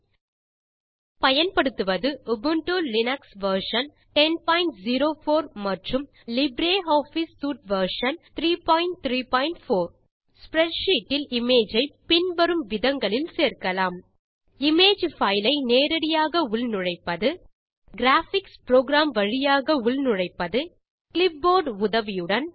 நாம் பயன்படுத்துவது Ubuntu Linux version 1004 மற்றும் லிப்ரியாஃபிஸ் சூட் வெர்ஷன் 334 ஸ்ப்ரெட்ஷீட் இல் இமேஜ் ஐ பின் வரும் விதங்களில் சேர்க்கலாம் இமேஜ் பைல் ஐ நேரடியாக உள் நுழைப்பது கிராபிக்ஸ் புரோகிராம் வழியாக உள் நுழைப்பது கிளிப்போர்ட் உதவியுடன்